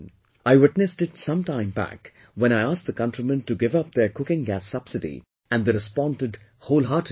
I witnessed it some time back when I asked the countrymen to give up their cooking gas subsidy and they responded wholeheartedly